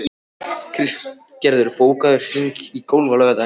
Kristgerður, bókaðu hring í golf á laugardaginn.